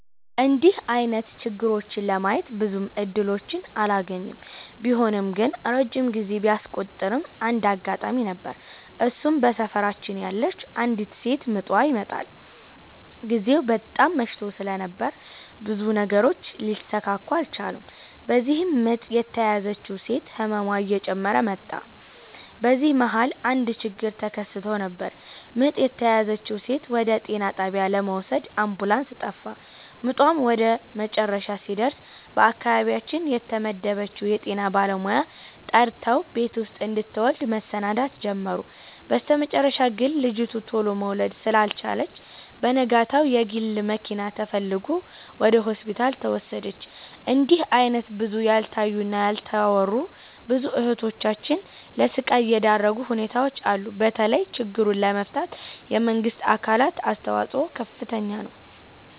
እንድህ አይነት ችግሮችን ለማየት ብዙም እድሎችን አላገኝም። ቢሆንም ግን ረጅም ጊዜ ቢያስቆጥርም አንድ አጋጣሚ ነበር እሱም በሰፈራችን ያለች አንዲት ሴት ምጧ ይመጠል። ግዜው በጣም መሽቶ ስለነበር ብዙ ነገሮች ሊሰካኩ አልቻሉም። በዚህም ምጥ የተያዘችው ሴት ህመሟ እየጨመረ መጣ። በዚህ መሀል አንድ ችግር ተከስቶ ነበር ምጥ የተያዘችውን ሴት ወደ ጤና ጣቢያ ለመውሰድ አምቡላንስ ጠፋ። ምጧም ወደመጨረሻ ሲደርስ በአካባቢያችን የተመደበችውን የጤና ባለሙያ ጠርተው ቤት ውስጥ እንድትወልድ መሰናዳት ጀመሩ። በስተመጨረሻ ግን ልጂቱ ቱሎ መውለድ ስላልቻለች በነጋታው የግል መኪና ተፈልጎ ወደ ሆስፒታል ተወሰደች። እንድህ አይነት ብዙ ያልታዩ እና ያልተወሩ ብዙ እህቶቻችን ለስቃይ የዳረጉ ሁኔታዎች አሉ። በተለይ ችግሩን ለመፍታት የመንግስት አካላት አስተዋጽኦ ከፍተኛ ነው።